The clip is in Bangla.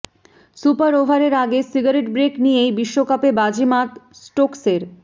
সুপার ওভারের আগে সিগারেট ব্রেক নিয়েই বিশ্বকাপে বাজিমাত স্টোকসের